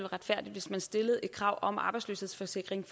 retfærdigt hvis man stillede et krav om arbejdsløshedsforsikring